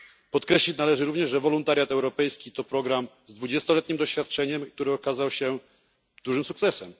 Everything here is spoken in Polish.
Podkreślić należy również, że wolontariat europejski to program z dwudziestoletnim stażem, który okazał się dużym sukcesem.